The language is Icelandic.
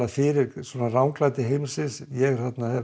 fyrir ranglæti heimsins ég